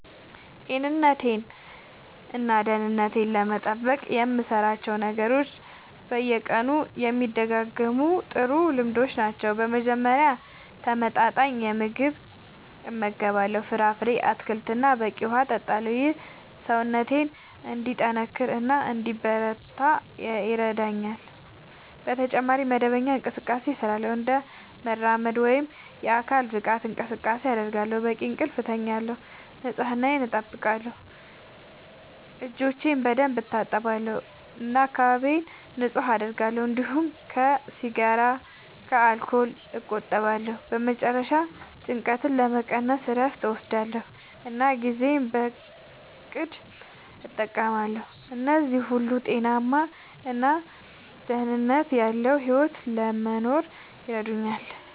ጤንነቴን እና ደህንነቴን ለመጠበቅ የምሠራቸው ነገሮች በየቀኑ የሚደጋገሙ ጥሩ ልምዶች ናቸው። በመጀመሪያ ተመጣጣኝ ምግብ እመገባለሁ፣ ፍራፍሬ፣ አትክልት እና በቂ ውሃ እጠቀማለሁ። ይህ ሰውነቴን እንዲጠናከር እና እንዲበረታ ይረዳኛል። በተጨማሪ መደበኛ እንቅስቃሴ እሠራለሁ፣ እንደ መራመድ ወይም የአካል ብቃት እንቅስቃሴ አደርጋለሁ፣ በቂ እንቅልፍ እተኛለሁ፣ ንጽህናየን አጠብቃለሁ (እጆቼን በደንብ እታጠባለሁ እና አካባቢዬን ንጹህ አደርጋለሁ)፤እንዲሁም ከሲጋራ እና ከአልኮል እቆጠባለሁ። በመጨረሻ ጭንቀትን ለመቀነስ እረፍት እወስዳለሁ እና ጊዜዬን በእቅድ እጠቀማለሁ። እነዚህ ሁሉ ጤናማ እና ደህንነት ያለዉ ሕይወት ለመኖር ይረዳኛል።